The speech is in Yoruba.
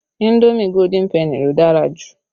Indomi Golden penny lo dára jù